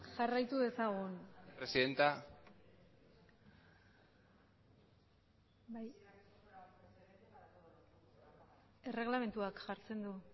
jarraitu dezagun presidenta erreglamenduak jartzen du